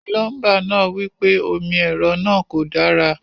Awọn onímọ́ ilẹ̀-kio ti sọ̀ dí mímọ̀ pé ipinle ilẹ̀ sẹ́ kòkò.